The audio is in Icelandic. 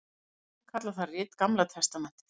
Kristnir menn kalla það rit Gamla testamentið.